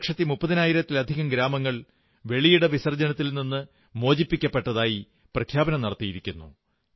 രണ്ടു ലക്ഷത്തി മുപ്പതിനായിരത്തിലധികം ഗ്രാമങ്ങൾ വെളിയിട വിസർജനത്തിൽ നിന്ന് മോചിപ്പിക്കപ്പെട്ടതായി പ്രഖ്യാപനം നടത്തിയിരിക്കുന്നു